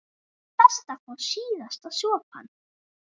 Best að fá síðasta sopann.